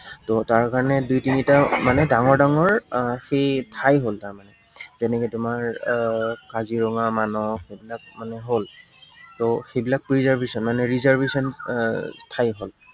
ত তাৰ কাৰনে দুই তিনিটা মানে ডাঙৰ ডাঙৰ আহ সেই ঠাই হল তাৰমানে। তেনেকে তোমাৰ এৰ কাজিৰঙা আহ মানস সেইবিলাক তাৰমানে হল। ত সেইবিলাক reservation মানে reservation আহ ঠাই হল।